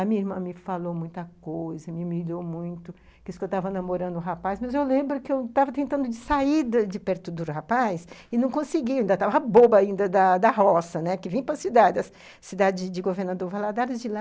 A minha irmã me falou muita coisa, me humilhou muito, disse que eu estava namorando o rapaz, mas eu lembro que eu estava tentando sair de perto do rapaz e não consegui, eu ainda estava boba da da roça, que vinha para a cidade, a cidade de Governador Valadares de lá.